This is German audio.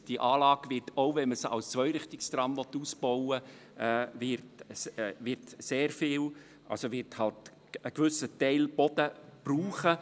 Die Anlage wird, selbst wenn man sie als Zweirichtungstram ausbauen will, einen gewissen Anteil an Boden brauchen.